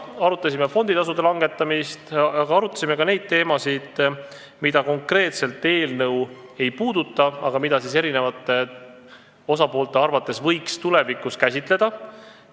Arutasime fonditasude langetamist, aga ka neid asju, mida konkreetselt see eelnõu ei puuduta, kuid mida osapoolte arvates võiks tulevikus käsitleda.